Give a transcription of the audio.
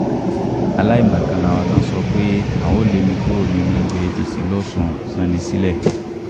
aláìmọ̀kan làwọn tí wọ́n ń sọ pé àwọn lé mi kúrò nínú ẹgbẹ́ apc losùn salinsilẹ̀